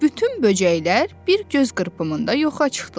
Bütün böcəklər bir göz qırpımında yoxa çıxdılar.